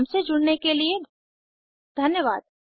हमसे जुड़ने के लिए धन्यवाद